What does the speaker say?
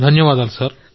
ధన్యవాదాలు సార్